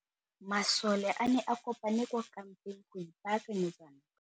Masole a ne a kopane kwa kampeng go ipaakanyetsa ntwa.